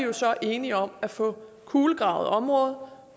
vi så enige om at få kulegravet området